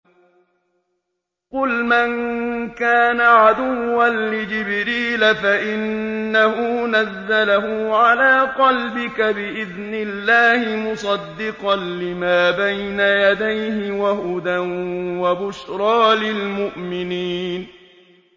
قُلْ مَن كَانَ عَدُوًّا لِّجِبْرِيلَ فَإِنَّهُ نَزَّلَهُ عَلَىٰ قَلْبِكَ بِإِذْنِ اللَّهِ مُصَدِّقًا لِّمَا بَيْنَ يَدَيْهِ وَهُدًى وَبُشْرَىٰ لِلْمُؤْمِنِينَ